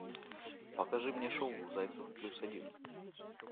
покажи мне шоу зайцев плюс один